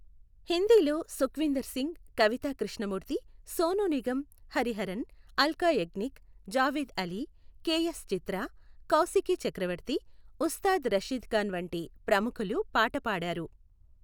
హిందీలో Sukhwinder Singh, Kavita Krishnamurthy, Sonu Nigam, Hariharan, Alka Yagnik, Javed Ali, KS Chitra, Kaushiki Chakraborty, Ustad Rashid Khan వంటి ప్రముఖులు పాట పాడారు.